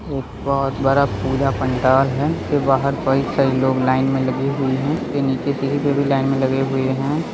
एक बहुत बड़ा पूजा-पंडाल है उसके बाहर कई सारी लोग लाइन में लगी हुई है उसके नीचे सीढ़ी पे भी लाइन में लगे हुए है।